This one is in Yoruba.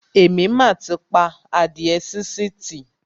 Èmi mà ti pa adíẹ sínsìn tì.